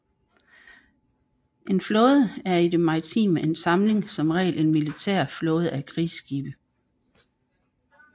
En flåde er i det maritime en samling som regel en militær flåde af krigsskibe